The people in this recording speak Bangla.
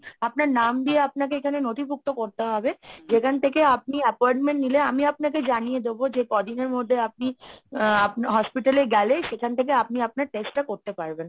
আপনার নাম দিয়ে আপনাকে এখানে নথিভুক্ত করতে হবে যেখান থেকে আপনি appointment নিলে আমি আপনাকে জানিয়ে দেব যে কদিনের মধ্যে আপনি আ hospital এ গেলে সেখান থেকে আপনি আপনার test টা করতে পারবেন।